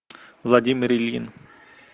владимир ильин